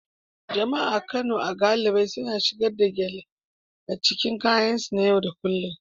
Jama'a a Kano galibi suna shigar da gele a cikin kayansu na yau da kullun